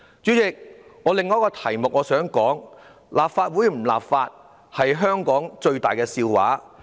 主席，我想談的另一個議題是：立法會不立法是香港最大的笑話。